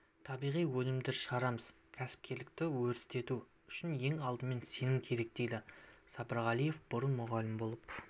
табиғи өнімдер шығарамыз кәсіпкерлікті өрістету үшін ең алдымен сенім керек дейді сапарғалиева бұрын мұғалім болып